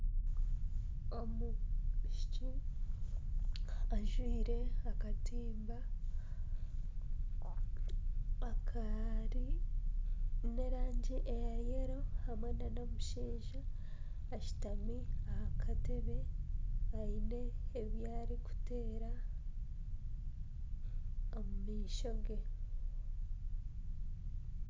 Omwishiki ajwaire akatimba akaine erangi ya yeero hamwe nana omushaija ashutami aha kutebe aine ebi arikuteera omu maisho ge